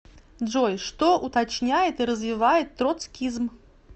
джой что уточняет и развивает троцкизм